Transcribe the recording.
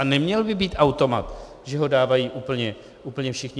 A neměl by být automat, že ho dávají úplně všichni.